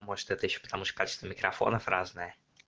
может это ещё потому что качество микрофонов разное